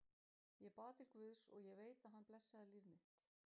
Ég bað til guðs, og ég veit að hann blessaði líf mitt.